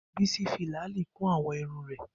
Bisi fi làálí kún àwọ̀ irun rẹ̀